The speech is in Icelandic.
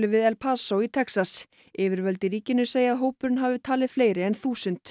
við El Paso í Texas yfirvöld í ríkinu segja að hópurinn hafi talið fleiri en þúsund